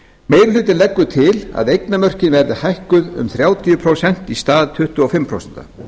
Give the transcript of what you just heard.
meiri hlutinn leggur til að eignarmörkin verði hækkuð um þrjátíu prósent í stað tuttugu og fimm prósenta